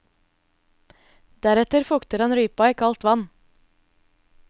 Deretter fukter han rypa i kaldt vann.